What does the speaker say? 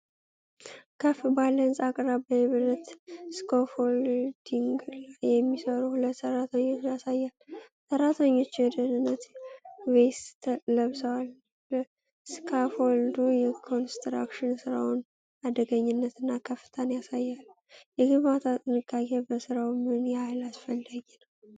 ከፍ ባለ ህንፃ አቅራቢያ የብረት ስካፎልዲንግ ላይ የሚሰሩ ሁለት ሰራተኞች ያሳያል። ሰራተኞቹ የደህንነት ቬስት ለብሰዋል። ስካፎልዱ የኮንስትራክሽን ሥራው አደገኛነትና ከፍታን ያሳያል። የግንባታ ጥንቃቄ በሥራው ምን ያህል አስፈላጊ ነው?